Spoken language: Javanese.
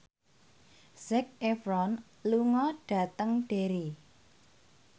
Zac Efron lunga dhateng Derry